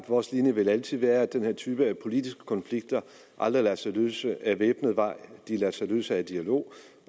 vores linje altid vil være at den her type politiske konflikter aldrig lader sig løse ad væbnet vej de lader sig løse ved dialog